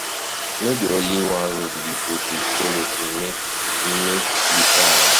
No be only one road we go dey folo, um make um make um we try anoda road.